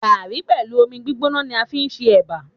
Gààrí pẹ̀lú omi gbígbóná ni a fi ń ṣe Ẹ̀bà.